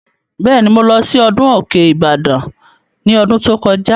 Bẹ́ẹ̀ni, mo lọ sí ọdún Òkè Ìbàdàn ní ọdún tó kọjá